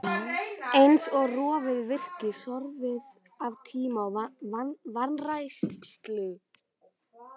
Eins og rofið virki, sorfið af tíma og vanrækslu.